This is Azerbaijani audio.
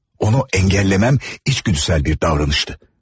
Onu əngəlləməm içgüdüsəl bir davranışdı.